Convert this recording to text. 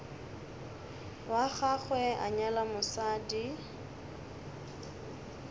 wa gagwe a nyala mosadi